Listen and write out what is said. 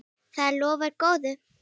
Það lofar góðu.